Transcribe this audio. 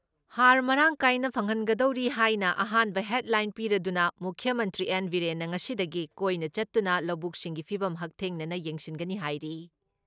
ꯍꯥꯔ ꯃꯔꯥꯡ ꯀꯥꯏꯅ ꯐꯪꯍꯟꯒꯗꯧꯔꯤ ꯍꯥꯏꯅ ꯑꯍꯥꯟꯕ ꯍꯦꯗꯂꯥꯏꯟ ꯄꯤꯔꯗꯨꯅ ꯃꯨꯈ꯭ꯌ ꯃꯟꯇ꯭ꯔꯤ ꯑꯦꯟ. ꯕꯤꯔꯦꯟꯅ ꯉꯁꯤꯗꯒꯤ ꯀꯣꯏꯅ ꯆꯠꯇꯨꯅ ꯂꯧꯕꯨꯛꯁꯤꯡꯒꯤ ꯐꯤꯚꯝ ꯍꯛꯊꯦꯡꯅꯅ ꯌꯦꯡꯁꯤꯟꯒꯅꯤ ꯍꯥꯏꯔꯤ ꯫